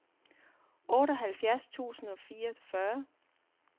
otteoghalvtreds tusind og fireogfyrre